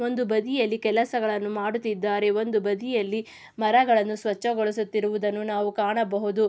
ಒಂದು ಬದಿಯಲ್ಲಿ ಕೆಲಸಗಳನ್ನು ಮಾಡುತ್ತಿದ್ದಾರೆ ಒಂದು ಬದಿಯಲ್ಲಿ ಮರಗಳನ್ನು ಸ್ವಚ್ಛಗೊಳಿಸುತ್ತಿರುವುದನ್ನು ನಾವು ಕಾಣಬಹುದು.